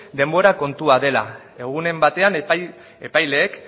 denbora kontua dela egunen batean epaileek